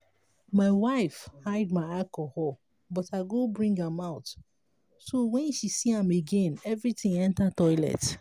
my wife hide my alcohol but i go bring am out so wen she see am again everything enter toilet